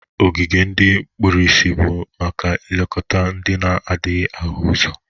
Ogige ndị kpụrụisi bụ maka ilekọta ndị na-adaghị ahụ ụzọ.